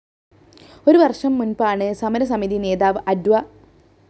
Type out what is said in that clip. ഒരു വര്‍ഷം മുന്‍പാണ് സമരസമിതി നേതാവ് അഡ്വ